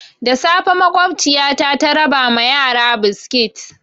Da safe makwabciyata ta raba ma yara biskit.